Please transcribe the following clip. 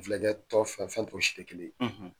Filɛkɛ tɔn fɛn fɛn o tɛ si kelen ye.